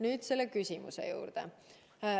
Nüüd küsimuse juurde.